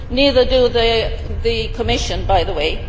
neither does the Commission, by the way.